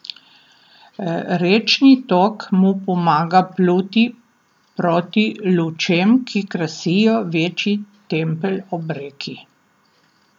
Rečni tok mu pomaga pluti proti lučem, ki krasijo večji tempelj ob reki.